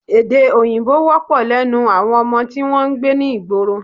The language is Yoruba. Èdè Òyìnbó wọ́pọ̀ lẹ́nu àwọn ọmọ tí wọn ń gbé ní ìgboro